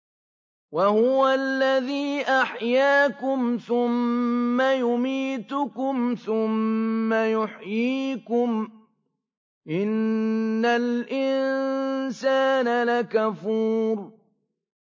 وَهُوَ الَّذِي أَحْيَاكُمْ ثُمَّ يُمِيتُكُمْ ثُمَّ يُحْيِيكُمْ ۗ إِنَّ الْإِنسَانَ لَكَفُورٌ